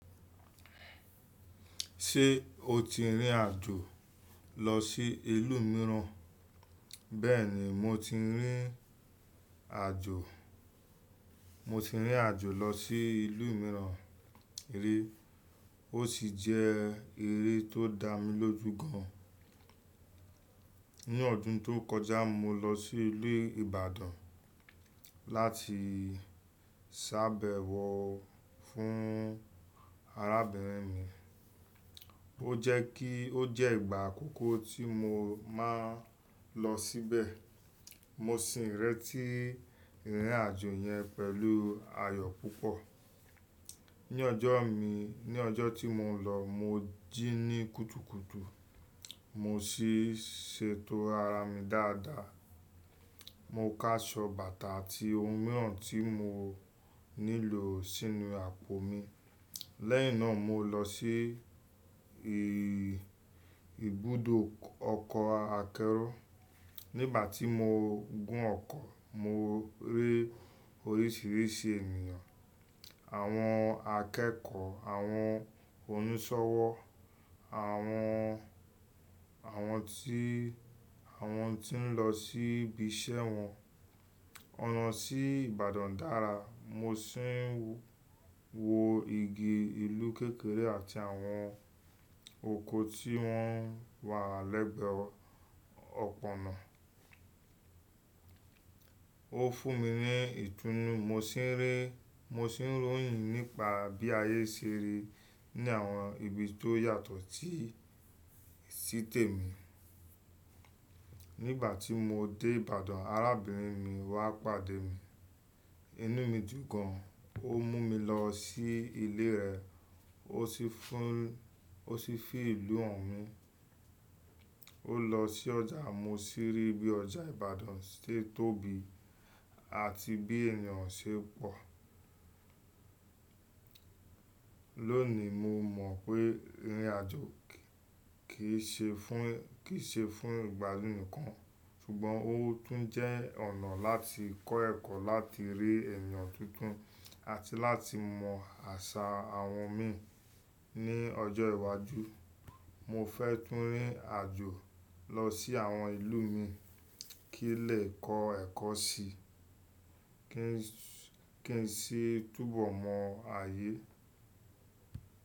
Ṣé o ti rìnrìn àjò lọ sí ìlú mìíràn? Bẹ́ẹ̀ni, mo ti rìn àjò, mo ti rìn àjò lọ sí ìlú mìíràn rí. Ó sì jẹ́ eré tó dá mi lójú gan an. Ní ọdún tó kọjá, mo lọ sí ilu Ibadan láti sàbẹ̀wọ fún arábìnrin mi. Ó jẹ́ kí ó jẹ́ ìgbà àkọ́kọ́ tí mo máa lọ síbẹ̀. Mo sì ìrẹti ìrìn àjò yẹn pẹ̀lú ayọ̀ púpọ̀. Ní ọjọ́ mi, ní ọjọ́ tí mo lọ, mo jí ní kùtùkùtù, mo sì ṣe tó ara mi dáadáa. Mo ká ṣọ bàtà àti ohun mìíràn tí mo nílò sínú àpò mi. Lẹ́yìn náà, mo lọ sí ì ìbúdò ọkọ̀ akẹ́rọ̀. Nígbà tí mo gún ọkọ̀, mo rí oríṣìíríṣìí ènìyàn, àwọn akẹ́kọ̀ọ́, àwọn onísọ̀wọ́, àwọn, àwọn tí, àwọn tí ń lọ sí ibi iṣẹ́ wọn. Ọ̀nà sí Ìbàdàn dára, mo sì ń wo igi, ìlú kékeré àti àwọn oko tí wọ́n wà lẹ́gbẹ̀ẹ́ ọ̀pọ̀ ọ̀nà. Ó fún mi ní ìtúnnu, mo sì ń rí, mo sì ń ròyìn nípa bí ayé ṣe rí ní àwọn ibi tó yàtọ̀ tí, sí tèmi. Nígbà tí mo dé Ìbàdàn, arábìnrin mi wá pàdé mi. Inú mi dùn gan an. Ó mú mi lọ sí ilé rẹ̀. Ó sì fún, ó sì fi ìlú hàn mi. Ó lọ sí ọjà mo sì rí bí ọjà Ìbàdàn ṣe tóbi àti bí ènìyàn ṣe pọ̀. Lónìí, mo mọ̀ pé irìn àjò kì í ṣe fún, kì í ṣe fún ìgbádún nìkan, ṣùgbọ́n ó tún jẹ́ ọ̀nà láti kọ́ ẹ̀kọ́, láti rí ènìyàn tuntun àti láti mọ àṣà àwọn mi. Ní ọjọ́ iwájú, mo fẹ́ tún rìn àjò lọ sí àwọn ìlú mi kí n lè kọ́ ẹ̀kọ́ sí i, kí n sì túbọ̀ mọ ayé.